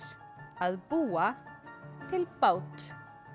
að búa til bát